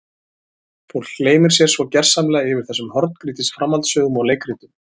Fólk gleymir sér svo gersamlega yfir þessum horngrýtis framhaldssögum og leikritum.